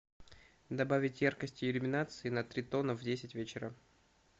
добавить яркость иллюминации на три тона в десять вечера